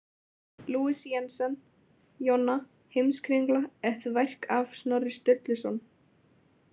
Louis- Jensen, Jonna, „Heimskringla: et værk af Snorri Sturluson“?